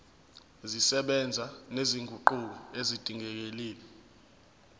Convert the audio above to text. zisebenza nezinguquko ezidingekile